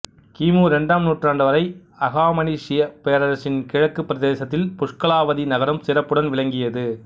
கிமு இரண்டாம் நூற்றாண்டு வரை அகாமனிசியப் பேரரசின் கிழக்குப் பிரதேசத்தில் புஷ்கலாவதி நகரம் சிறப்புடன் விளங்கியது